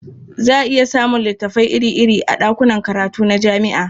Za a iya samun littafai iri-iri a ɗakunan karatu na jami'a.